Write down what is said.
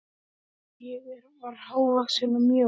Ég var hávaxin og mjó.